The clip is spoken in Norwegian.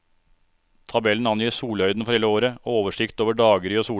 Tabellen angir solhøyden for hele året og oversikt over daggry og solefall.